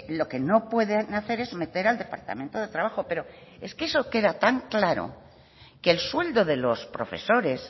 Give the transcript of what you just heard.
lo que no pueden hacer es meter al departamento de trabajo pero es que eso queda tan claro que el sueldo de los profesores